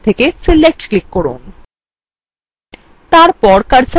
অঙ্কন toolbar থেকে select click from